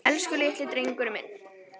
Elsku litli drengurinn minn.